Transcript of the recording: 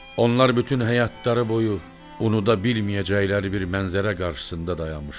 Onlar bütün həyatları boyu unuda bilməyəcəkləri bir mənzərə qarşısında dayanmışlar.